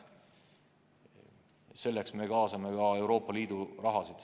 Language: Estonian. Selleks kaasame ka Euroopa Liidu raha.